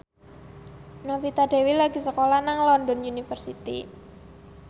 Novita Dewi lagi sekolah nang London University